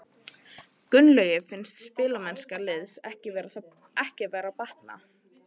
Gunnlaugi finnst spilamennska liðsins ekki vera að batna.